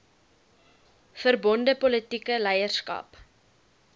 verbonde politieke leierskap